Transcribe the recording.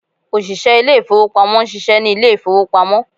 ọsise ilé ìfíwepámọ n ṣiṣẹ ni ilé ìfíwepámọ